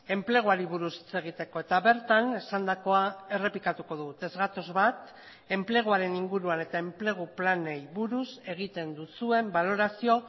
enpleguari buruz hitz egiteko eta bertan esandakoa errepikatuko dugu ez gatoz bat enpleguaren inguruan eta enplegu planei buruz egiten duzuen balorazio